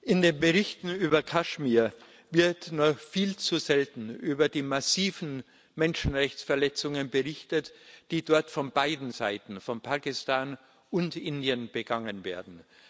Herr Präsident! In den Berichten über Kaschmir wird nur viel zu selten über die massiven Menschenrechtsverletzungen berichtet, die dort von beiden Seiten von Pakistan und Indien begangen werden.